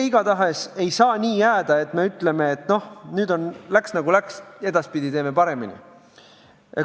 Igatahes ei saa nii jääda, et me ütleme, et läks nagu läks, edaspidi teeme paremini.